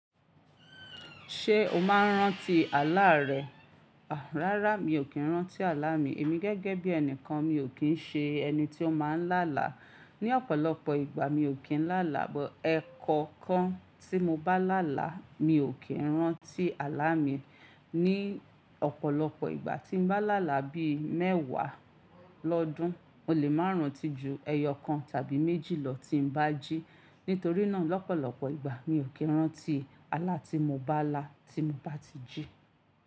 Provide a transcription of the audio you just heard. Ṣé o máa ń rántí àlá rẹ? Rárá, mi ò kí ń rántí àlá mi. Èmi gẹ́gẹ́ bí ẹnìkan mi ò kí ń ṣe ẹni tí ó máa ń lálá. Ni ọ̀pọ̀lọpọ̀ ìgbà mi ò kí ń lálá, but ẹ̀kọkan tí mo bá lálá mi ò kí ń rántí àlá mi. Ni ọ̀pọ̀lọpọ̀ ìgbà tí ń bá lálá bí mẹ́wàá lọ́dún, mo lè máa rántí ju ẹyọ kan tàbí méjì lọ tí n bá jí. Nítorí náà lọ́pọ̀lọpọ̀ ìgbà mi ò kí ń rántí àlá tí mo bá lá tí m bá ti jí.